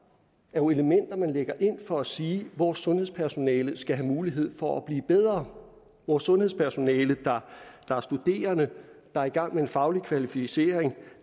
jo elementer man lægger ind for at sige at vores sundhedspersonale skal have mulighed for at blive bedre vores sundhedspersonale der er studerende der er i gang med en faglig kvalificering